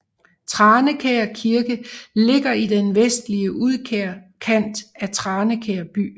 Tranekær Kirke ligger i den vestlige udkant af Tranekær By